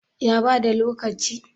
ya bada lokaci?